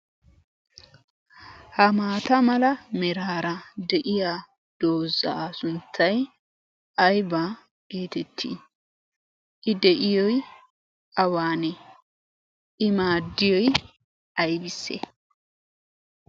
Ha maata mala meraara de"iya doozaa sunttay aybaa geetettii? I de"iyoy awaanee? I maaddiyoy aybissee?